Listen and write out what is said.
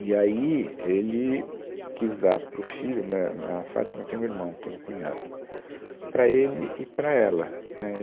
E aí ele quis dar para o filho, méh, a Fátima tem um irmão, eu tenho um cunhado, para ele e para ela, né